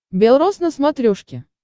бел роз на смотрешке